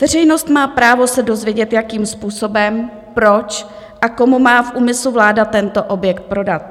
Veřejnost má právo se dozvědět, jakým způsobem, proč a komu má v úmyslu vláda tento objekt prodat.